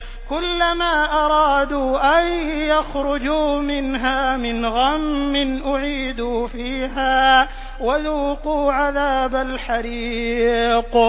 كُلَّمَا أَرَادُوا أَن يَخْرُجُوا مِنْهَا مِنْ غَمٍّ أُعِيدُوا فِيهَا وَذُوقُوا عَذَابَ الْحَرِيقِ